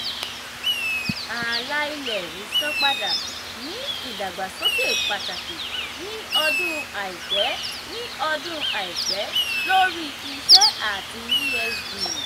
àlà-ilẹ̀ ìsanpadà ní ìdàgbàsókè pàtàkì ní ọdún aipẹ ní ọdún aipẹ lórí iṣẹ́ ati esg.